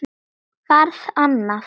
Varð annað.